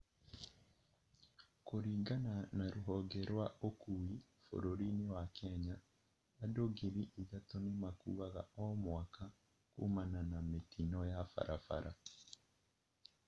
Kũringana na rũhonge rwa ũkui bũrũri-inĩ wa Kenya, Andũ ngiri ithatũ nĩmakuaga o mwaka kũmana na mĩtino ya barabara